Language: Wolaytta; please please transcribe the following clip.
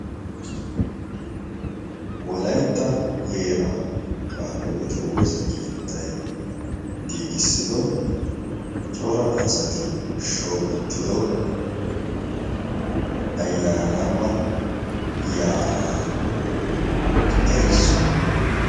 walaitta heeraa qaalihwote woosa keettai giigissido cora asati shoobettido ayyaanaama yaa7aa erissuwaa.